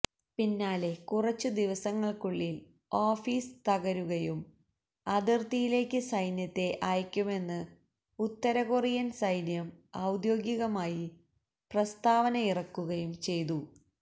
പിന്നാലെ കുറച്ചു ദിവസങ്ങള്ക്കുള്ളില് ഓഫീസ് തകരുകയും അതിര്ത്തിയിലേക്ക് സൈന്യത്തെ അയക്കുമെന്ന് ഉത്തരകൊറിയന് സൈന്യം ഔദ്യോഗികമായി പ്രസ്താവനയിറക്കുകയും ചെയ്തു